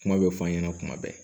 Kuma bɛ fɔ an ɲɛna kuma bɛɛ